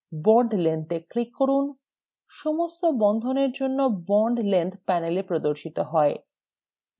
bond length এ click করুন সমস্ত বন্ধনের জন্য bond length panel প্রদর্শিত হয়